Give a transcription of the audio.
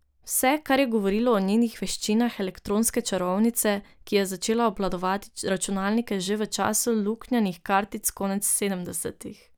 Vse, kar je govorilo o njenih veščinah elektronske čarovnice, ki je začela obvladovati računalnike že v času luknjanih kartic konec sedemdesetih.